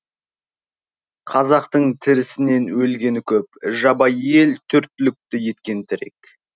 қазақтың тірісінен өлгені көп жабайы ел төрт түлікті еткен тірек